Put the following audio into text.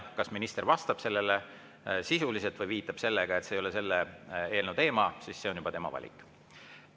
Kas minister vastab sisuliselt või viitab sellele, et see ei ole selle eelnõu teema, on juba tema valik.